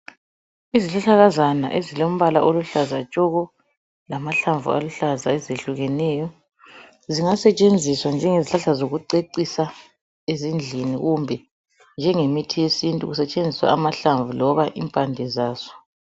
Izihlahlakazana ezilombala oluhlaza tshoko lamahlamvu aluhlaza ezehlukeneyo zingasetshenziswa njengezihlahla zokucecisa ezindlini kumbe njengemithi yesintu kusetshenziswa amahlamvu loba impande zazo.